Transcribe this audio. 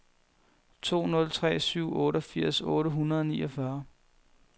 to nul tre syv otteogfirs otte hundrede og niogfyrre